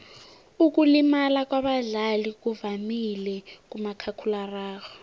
ukulimala kwabadlali kuvamile kumakhakhulararhwe